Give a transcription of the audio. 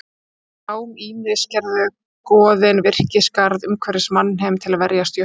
Úr brám Ýmis gerðu goðin virkisgarð umhverfis mannheim til að verjast jötnum.